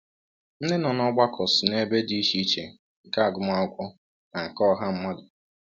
Ndị nọ n’ọgbakọ si n’ebe dị iche iche nke agụmakwụkwọ na nke ọha mmadụ.